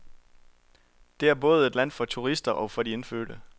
Det er både et land for turister og for de indfødte.